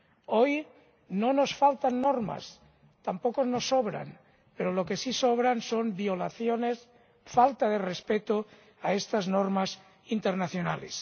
Hoy no nos faltan normas, tampoco nos sobran, pero lo que sí sobran son violaciones y falta de respeto de estas normas internacionales.